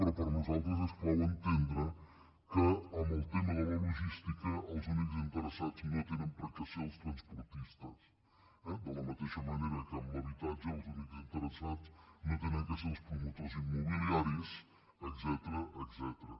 però per nosaltres és clau entendre que en el tema de la logística els únics interessats no tenen per què ser els transportistes eh de la mateixa manera que en l’habitatge els únics interessats no han de ser els promotors immobiliaris etcètera